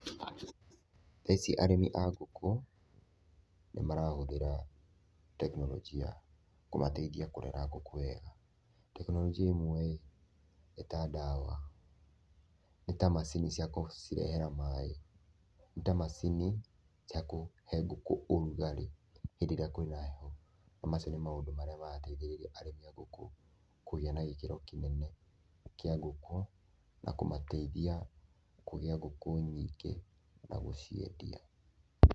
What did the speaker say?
Thaa ici arĩmi a ngũkũ nĩmarahũthĩra tekinoronjĩa kũmateithia kũrera ngũkũ wega. Tekinoronjĩa imwe ĩ, nĩ ta ndawa, nĩ ta macini cia kũcirehera maĩ, nĩ ta macini cia kũhe ngũkũ ũrugarĩ hĩndĩ ĩrĩa kwĩna heho na macio nĩ maũndũ marĩa marateithĩrĩria arĩmi a ngũkũ kũgĩa na gĩkĩro kĩnene kĩa ngũkũ na kũmateithia kũgĩa ngũkũ nyingĩ na gũciendia.